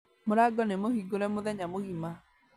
Mũrango nĩ mũhingũre mũthenya mũgima